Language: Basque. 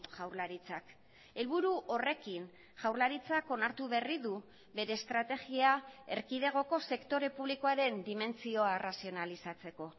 jaurlaritzak helburu horrekin jaurlaritzak onartu berri du bere estrategia erkidegoko sektore publikoaren dimentsioa arrazionalizatzeko